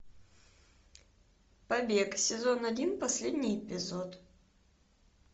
побег сезон один последний эпизод